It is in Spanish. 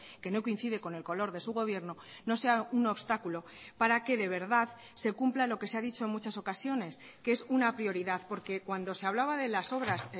que no coincide con el color de su gobierno no sea un obstáculo para que de verdad se cumpla lo que se ha dicho en muchas ocasiones que es una prioridad porque cuando se hablaba de las obras